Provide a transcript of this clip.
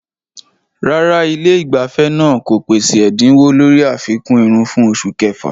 Rárá, ilé ìgbafẹ́ náà kò pèsè ẹ̀dínwó lórí àfikún irun fún oṣù kẹfà.